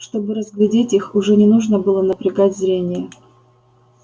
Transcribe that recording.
чтобы разглядеть их уже не нужно было напрягать зрение